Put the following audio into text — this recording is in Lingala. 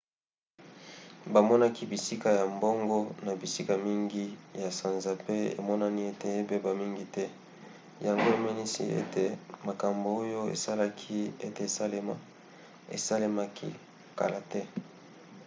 bamonaki bisika ya bongo na bisika mingi na sanza pe emonani ete ebeba mingi te yango emonisi ete makambo oyo esalaki ete esalema esalemaki kala te